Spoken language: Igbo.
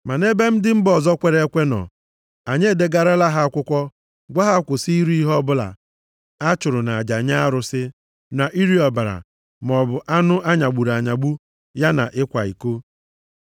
Ma nʼebe ndị mba ọzọ kwere ekwe nọ, anyị edegarala ha akwụkwọ gwa ha kwụsị iri ihe ọbụla a chụrụ nʼaja nye arụsị, na iri ọbara, maọbụ anụ a nyagburu anyagbu, ya na ịkwa iko.”